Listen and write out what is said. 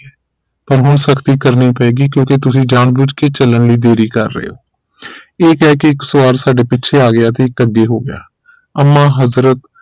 ਪਰ ਹੁਣ ਸਖਤੀ ਕਰਨੀ ਪਏਗੀ ਕਿਉਂਕਿ ਤੁਸੀਂ ਜਾਨ ਭੁੱਝ ਕੇ ਚਲਣ ਲਈ ਦੇਰੀ ਕਰ ਰਹੇ ਹੋ ਇਹ ਕਹਿ ਕੇ ਇਕ ਸਵਾਰ ਸਾਡੇ ਪੀਛੇ ਆ ਗਿਆ ਤੇ ਇਕ ਅੱਗੇ ਹੋ ਗਿਆ ਅੰਮਾ ਹਜ਼ਰਤ